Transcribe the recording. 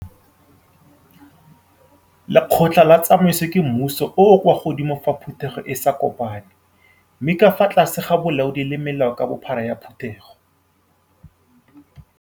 Lekgotla la Tsamaiso ke mmuso o o kwa godimo fa Phutego e sa kopane, mme ka fa tlase ga bolaodi le melao ka bophara ya Phutego.